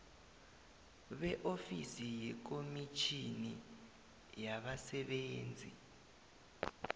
beofisi yekomitjhini yabasebenzi